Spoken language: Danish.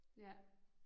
Ja